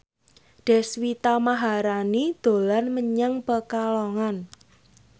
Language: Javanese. Deswita Maharani dolan menyang Pekalongan